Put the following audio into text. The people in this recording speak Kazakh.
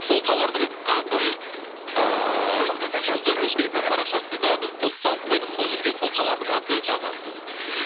сол тауардың атын ыыы жұлдыз эф эм парақшасында біз пост салып қойдық сол жерге сол тауардың атын жазасыз